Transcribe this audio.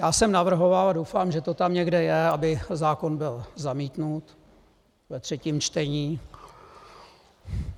Já jsem navrhoval, a doufám, že to tam někde je, aby zákon byl zamítnut ve třetím čtení.